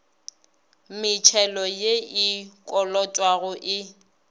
metšhelo ye e kolotwago e